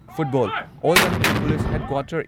football all Manipur police headquarter